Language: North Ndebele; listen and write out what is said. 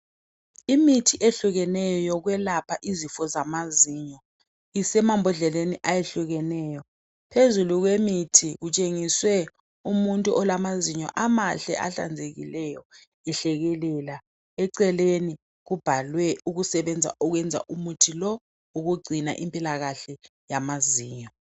Imithi eyehlukeneyo yokwelapha izifo zamazinyo, isemambodleleni ayehlukeneyo, phezulu kwemithi kutshengiswe umuntu olamazinyo amahle ahlanzekileyo ehlekelela. Eceleni kubhalwe ukusebenza okwenza umuthi lo ukugcina impilakahle yamazinyo.